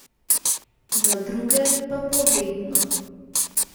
Za druge pa povedno.